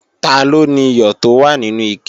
Taló niyọ̀ tó wà nínú ike?